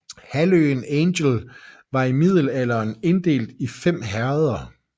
Halvøen Angel var i middelalderen inddelt i fem herreder